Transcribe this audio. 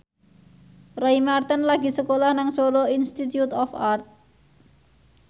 Roy Marten lagi sekolah nang Solo Institute of Art